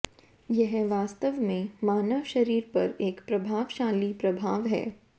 यह वास्तव में मानव शरीर पर एक प्रभावशाली प्रभाव है